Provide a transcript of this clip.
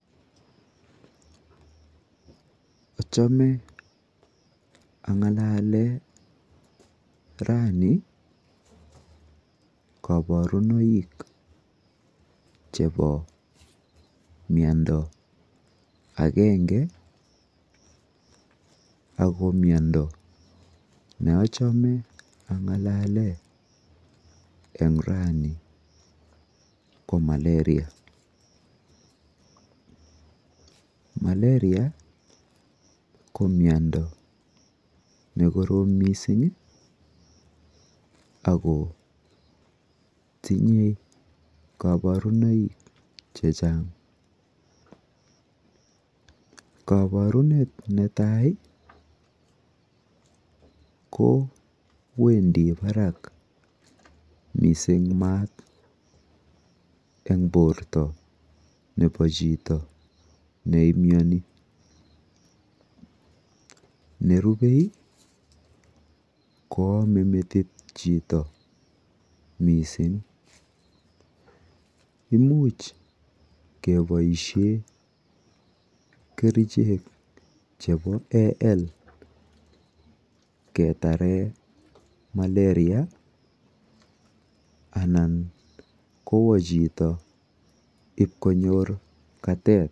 Achame angalalen raini koborunoik chebo miondo akenge ako miondo neachame angalale eng raini ko malaria , malaria ko miondo nekorom mising ako tinyei koborunoik chechang koborunet netai ko wendi barak mising maat eng borto nepo chito neimyoni nerubei ko amei metit chito mising imuch keboishe kerichek chebo al ketare malaria anan kowo chito ip konyor katet.